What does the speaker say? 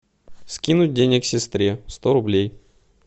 скинуть денег сестре сто рублей